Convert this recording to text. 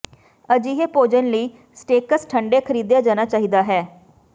ਅਜਿਹੇ ਭੋਜਨ ਲਈ ਸਟੇਕਸ ਠੰਢੇ ਖਰੀਦਿਆ ਜਾਣਾ ਚਾਹੀਦਾ ਹੈ